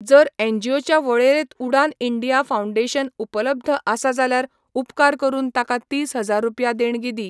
जर एनजीओच्या वळेरेंत उडाण इंडिया फाउंडेशन उपलब्ध आसा जाल्यार उपकार करून ताका तीस हजार रुपया देणगी दी.